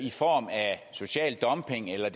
social dumping eller